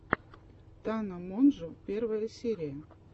тана монжо первая серия